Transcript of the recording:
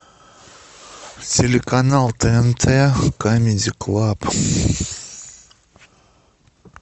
телеканал тнт камеди клаб